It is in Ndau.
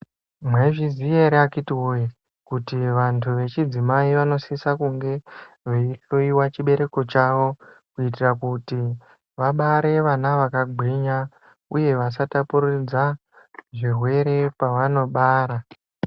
Mwaizviziya ere akiti woyee, kuti vantu vechidzimai vanosisa kunge veihloyiwa chibereko chavo kuitira kuti vabare vana vakagwinya uye vasatapuridzana zvirwere pavanobara.